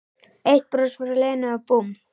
Eitt bros frá Lenu og búmm